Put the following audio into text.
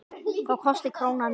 Þá kosti krónan meira.